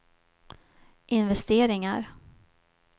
investeringar